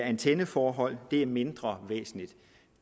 antenneforhold det er mindre væsentligt